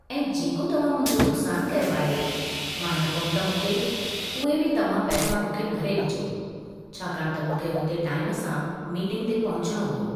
ऐं जेको तव्हां मुंहिंजो नुक़सानु कयो आहे, मां न पहुतमि हुते, उहे बि तव्हां पैसा मूंखे भरे ॾिजो छाकाणि त मूंखे हुते टाइम सां मीटींग ते पहुचणो हो।